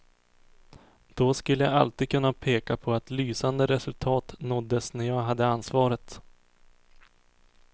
Då skulle jag alltid kunna peka på att lysande resultat nåddes när jag hade ansvaret.